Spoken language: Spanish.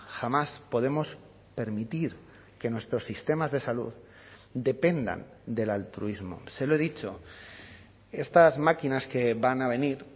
jamás podemos permitir que nuestros sistemas de salud dependan del altruismo se lo he dicho estas máquinas que van a venir